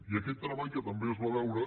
i aquest treball que també es va veure